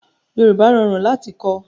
Yorùbá rorun lati kọ̀